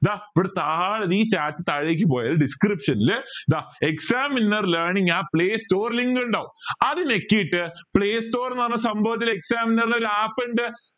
ദാ ഈ chat തഴകി പോയ description ൽ ദാ exam winner learning app play store link ഇണ്ടാവും അത് നെക്കീട്ട് play store എന്ന് പറഞ്ഞ സംഭവത്തിൽ exam winner ടെ ഒരു app ഇണ്ട്